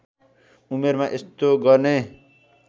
उमेरमा यस्तो गर्ने